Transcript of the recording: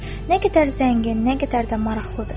Nə qədər zəngin, nə qədər də maraqlıdır.